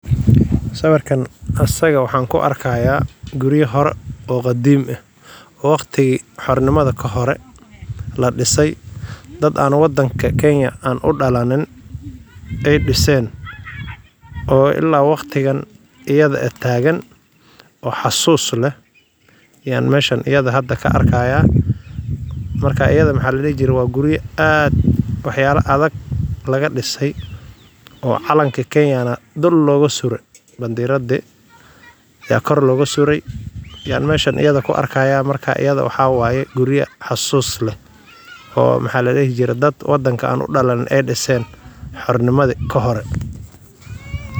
Siwirkan qasrika waxaan ku argahya, guriya hore oo qadimah , waqtiki hornimada ka hore, ladisa dad an wadnka kenya an udalanin, ay disan oo ila waqatika badan ayada tagan, wax xasus lah, aya mashan ayad ka arahaya, marka ayadi mxa ladihi jira wa guriya ad wax yala adag, laga disay, oo calanka kenaya na dul loga sura bamdarandi aya gor loga sura, aya mashan ayad ku argaya mashan ayadi wax waya guriya xasus lah, oo mxa ladihi jire dad an wadanka udalanin ay disan hornimdi ka hore.